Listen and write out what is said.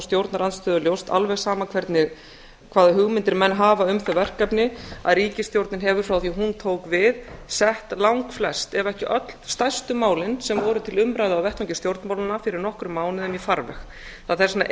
stjórnarandstöðu ljóst alveg sama hvaða hugmyndir menn hafa um þau verkefni að ríkisstjórnin hefur frá því að hún tók við sett langflest ef ekki öll stærstu málin sem voru til umræðu á vettvangi stjórnmálanna í farveg það er þess vegna